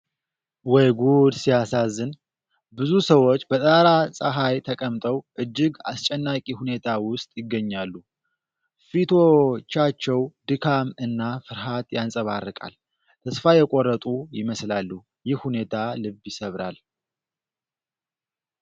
ወይ ጉድ ሲያሳዝን! ብዙ ሰዎች በጠራራ ፀሐይ ተቀምጠው እጅግ አስጨናቂ ሁኔታ ውስጥ ይገኛሉ። ፊቶቻቸው ድካም እና ፍርሃት ያንፀባርቃል። ተስፋ የቆረጡ ይመስላሉ። ይህ ሁኔታ ልብ ይሰብራል።